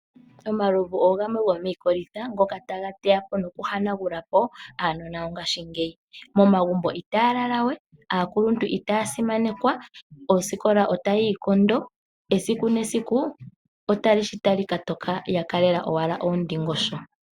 Omalovu ogamwe gomiikolitha ngoka taga teya po noku hanagula po aanona yongashingeyi. Momagumbo itaya lala we, aakuluntu itaya simanekwa, oosikola otayi ikondo, esiku nesiku otali shi tali ka toka ya kalela owala oondingosho.